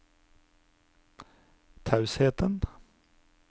tausheten